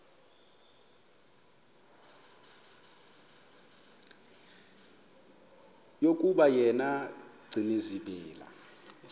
yokuba yena gcinizibele